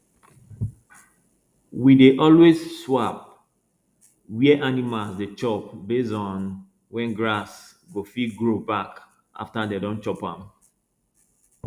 we dey always swap where animals dey chop based on when grass go fit grow back after dem don chop am